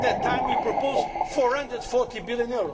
At that time we proposed EUR 440 billion.